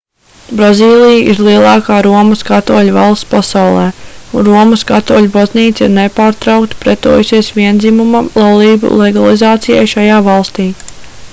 brazīlija ir lielākā romas katoļu valsts pasaulē un romas katoļu baznīca ir nepārtraukti pretojusies viendzimuma laulību legalizācijai šajā valstī